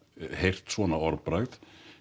heyrt svona orðbragð